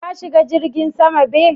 Ka shiga jirgin sama be?